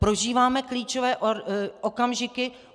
Prožíváme klíčové okamžiky.